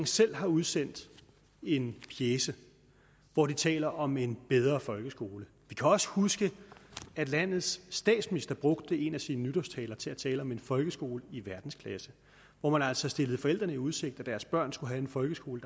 selv har udsendt en pjece hvor den taler om en bedre folkeskole vi kan også huske at landets statsminister brugte en af sine nytårstaler til at tale om en folkeskole i verdensklasse hvor man altså stillede forældrene i udsigt at deres børn skulle have en folkeskole